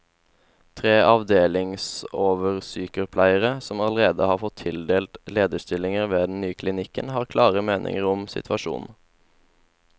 Tre avdelingsoversykepleiere, som allerede har fått tildelt lederstillinger ved den nye klinikken, har klare meninger om situasjonen.